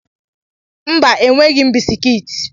Mba, enweghị m bisikiiti